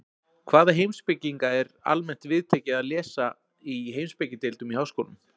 Hvaða heimspekinga er almennt viðtekið að lesa í heimspekideildum í háskólum?